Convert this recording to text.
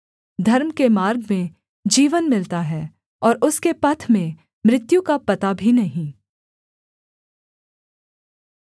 धर्म के मार्ग में जीवन मिलता है और उसके पथ में मृत्यु का पता भी नहीं